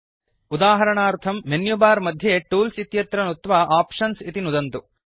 उदाहरणार्थं मेन्युबार मध्ये टूल्स् इत्यत्र नुत्वा आप्शन्स् इति नुदन्तु